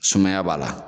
Sumaya b'a la